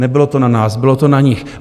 Nebylo to na nás, bylo to na nich.